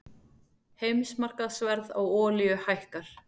Heimsmarkaðsverð á olíu hækkar